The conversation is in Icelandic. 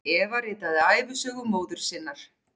Eva ritaði ævisögu móður sinnar.